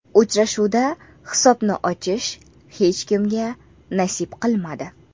Uchrashuvda hisobni ochish hech kimga nasib qilmadi.